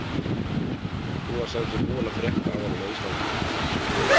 Hún var sem sé búin að frétta af honum á Íslandi.